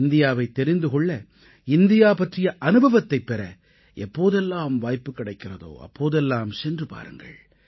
இந்தியாவைத் தெரிந்து கொள்ள இந்தியா பற்றிய அனுபவத்தைப் பெற எப்போதெல்லாம் வாய்ப்பு கிடைக்கிறதோ அப்போதெல்லாம் சென்று பாருங்கள்